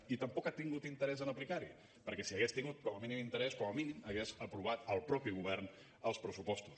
i tampoc ha tingut interès en aplicar s’hi perquè si hi hagués tingut com a mínim interès com a mínim hagués aprovat el mateix govern els pressupostos